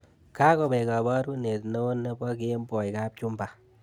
Kakowek kaborunet neo nebo kemboi kapchumba